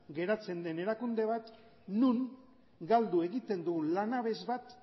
geratzen den erakunde bat non galdu egiten du lanabes bat